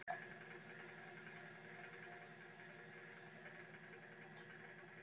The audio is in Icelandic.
Edda Andrésdóttir: Lóa, er þetta stóra málið í kvöld?